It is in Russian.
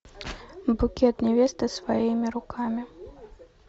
букет невесты своими руками